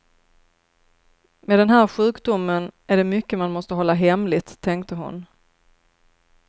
Med den här sjukdomen är det mycket man måste hålla hemligt, tänkte hon.